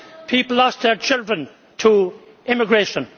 people lost their children to immigration.